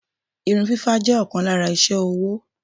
Irun fífá jẹ́ ọ̀kan lára iṣé owó.